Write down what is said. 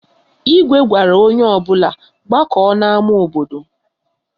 Igwe gwara onye ọbụla gbakọọ n'ama obodo